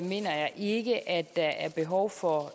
mener jeg ikke at der er behov for